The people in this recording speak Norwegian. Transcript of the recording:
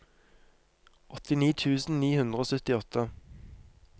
åttini tusen ni hundre og syttiåtte